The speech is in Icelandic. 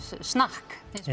snakk eins